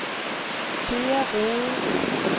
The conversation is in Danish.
Thea Rohde